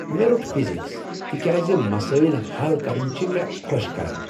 مےٚ روٚٹ فزیٖکس تہ کیٛاز مسٲیل ہل کرٕنۍ چھ مےٚ خۄش کران۔